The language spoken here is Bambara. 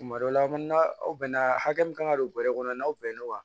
Tuma dɔ la aw bɛn na hakɛ min kan ka don bɔrɛ kɔnɔ n'aw bɛnna o kan